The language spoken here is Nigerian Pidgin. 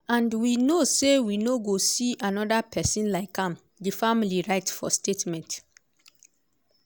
and we know say we no go see anoda pesin like am" di family write for statement.